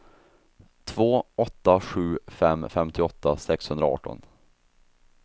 två åtta sju fem femtioåtta sexhundraarton